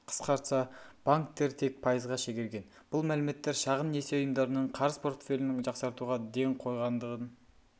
қысқартса банктер тек пайызға шегерген бұл мәліметтер шағын несие ұйымдарының қарыз портфелін жақсартуға ден қойғандығын